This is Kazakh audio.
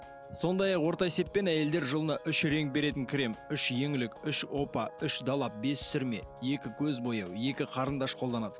сондай ақ орта есеппен әйелдер жылына үш реңк беретін крем үш еңлік үш опа үш далап бес сүрме екі көз бояу екі қарындаш қолданады